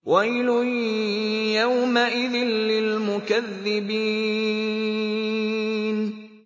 وَيْلٌ يَوْمَئِذٍ لِّلْمُكَذِّبِينَ